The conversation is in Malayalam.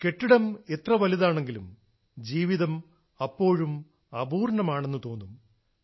കെട്ടിടം എത്ര വലുതാണെങ്കിലും ജീവിതം അപ്പോഴും അപൂർണ്ണമാണെന്ന് തോന്നും